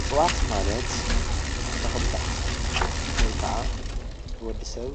እፅዋት ማለት ተኽሊታት ወይ ከዓ ን ወዲሰብ